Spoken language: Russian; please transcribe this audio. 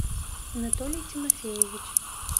анатолий тимофеевич